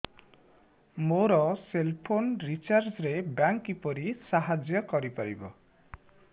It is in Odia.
ମୋ ସେଲ୍ ଫୋନ୍ ରିଚାର୍ଜ ରେ ବ୍ୟାଙ୍କ୍ କିପରି ସାହାଯ୍ୟ କରିପାରିବ